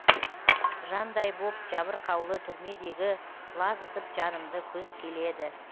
жандай боп жабырқаулы түрмедегі құлазытып жанымды күз келеді